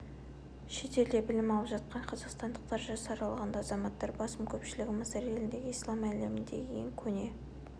шетелде білім алып жатқан қазақстандықтар жас аралығындағы азаматтар басым көпшілігі мысыр еліндегі ислам әлеміндегі ең көне